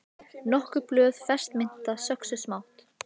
Nokkur blöð fersk mynta söxuð smátt